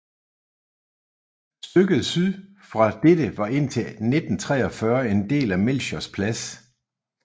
Stykket syd for dette var indtil 1943 en del af Melchiors Plads